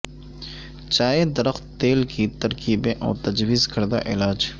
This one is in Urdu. چائے درخت تیل کی ترکیبیں اور تجویز کردہ علاج